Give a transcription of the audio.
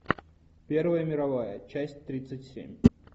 первая мировая часть тридцать семь